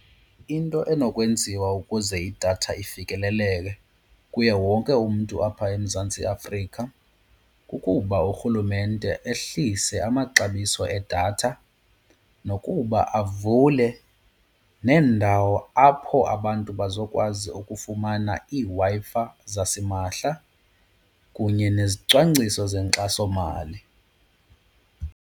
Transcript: Into enokwenziwa ukuze idatha ifikeleleke kuye wonke umntu apha eMzantsi Afrika kukuba uRhulumente ehlise amaxabiso edatha nokuba avule neendawo apho abantu bazokwazi ukufumana iiWi-Fi zasimahla kunye nezicwangciso zenkxasomali.